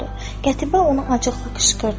Qətibə ona acıqlı qışqırdı.